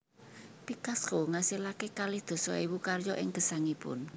Picasso ngasilaken kalih dasa ewu karya ing gesangipun